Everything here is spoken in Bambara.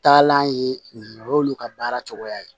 Taalan ye o y'olu ka baara cogoya ye